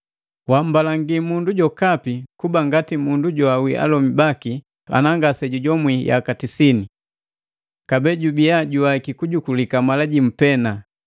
Wammbalangi mundu jokapi kuba ngati mundu joawii alomi baki ana ngase jujomwi yaka sitini. Kabee jubia juwaiki kujukulika malajimu pee,